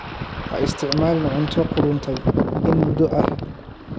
Ha isticmaalin cunto qudhuntay in muddo ah.